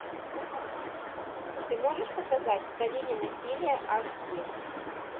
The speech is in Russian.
ты можешь показать в долине насилия аш ди